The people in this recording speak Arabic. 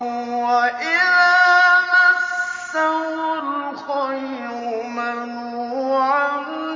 وَإِذَا مَسَّهُ الْخَيْرُ مَنُوعًا